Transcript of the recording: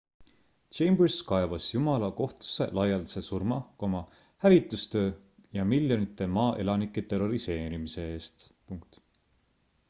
chambers kaebas jumala kohtusse laialdase surma hävitustöö ja miljonite maa elanike terroriseerimise eest